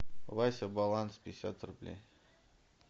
вася баланс пятьдесят рублей